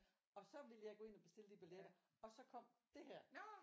Og så ville jeg gå ind og bestille de billetter og så kom det her